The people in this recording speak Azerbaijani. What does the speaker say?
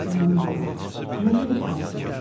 Aman Allah, nə böyük faciədir.